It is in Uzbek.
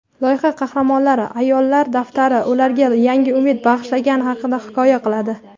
Loyiha qahramonlari "Ayollar daftari" ularga yangi umid bag‘ishlagani haqida hikoya qiladi.